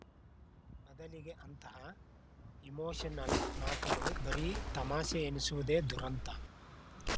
ಬದಲಿಗೆ ಅಂತಹ ಇಮೋಷನಲ್‌ ಮಾತುಗಳು ಬರೀ ತಮಾಷೆ ಎನಿಸುವುದೇ ದುರಂತ